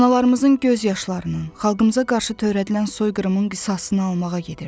Analarımızın göz yaşlarının, xalqımıza qarşı törədilən soyqırımın qisasını almağa gedirdi.